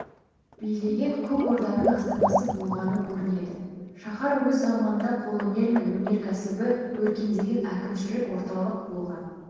билеген көкорданың астанасы болған көрінеді шаһар өз заманында қолөнері мен өнеркәсібі өркендеген әкімшілік орталық болған